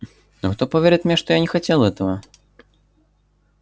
но кто поверит мне что я не хотел этого